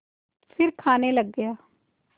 फिर खाने लग गया